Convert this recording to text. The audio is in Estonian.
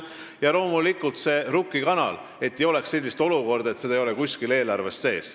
Ja loomulikult on oluline Rukki kanal – ei tohi tekkida sellist olukorda, et seda ei ole kuskil eelarves sees.